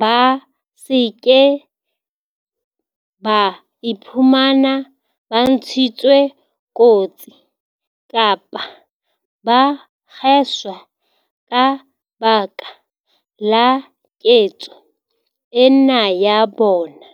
ba se ke ba iphumana ba ntshitswe kotsi kapa ba kgeswa ka baka la ketso ena ya bona.